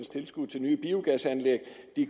tilskud til nye biogasanlæg